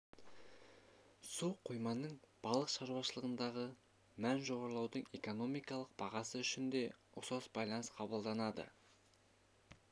су қойманың балық шаруашылығындағы мәні жоғарылаудың экономикалық бағасы үшін де ұқсас байланыс қабылданады